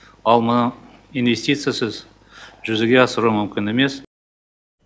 ал мұны инвестициясыз жүзеге асыру мүмкін емес